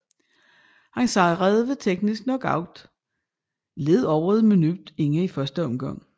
Han sejrede ved teknisk knockout lidt over et minut inde i første omgang